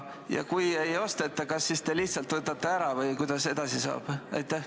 Ja kui ei osteta, kas te lihtsalt võtate ära või mis edasi saab?